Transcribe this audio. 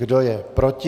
Kdo je proti?